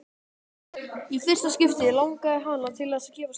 Í fyrsta skipti langaði hana til þess að gefast upp.